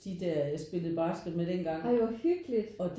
Ej hvor hyggeligt